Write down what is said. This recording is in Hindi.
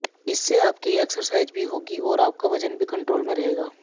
इससे आपकी एक्सरसाइज भी होगी और आपका वजन भी कंट्रोल में रहेगा